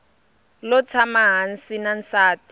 lo tshama hansi na nsati